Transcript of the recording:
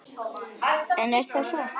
En er það satt?